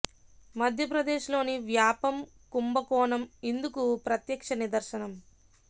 మధ్య ప్రదేశ్ లోని వ్యాపం కుంభకోణం ఇందుకు ప్రత్యక్ష నిద ర్శనం